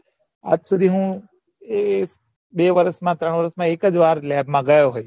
આ જ સુધી હું એ બે વરસ મ ત્રણ વરસ મ એક જ વાર lab મા ગયો હતો